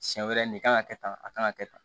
Siɲɛ wɛrɛ nin kan ka kɛ tan a kan ka kɛ tan